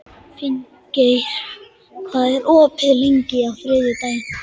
Finngeir, hvað er opið lengi á þriðjudaginn?